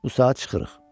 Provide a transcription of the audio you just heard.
Bu saat çıxırıq.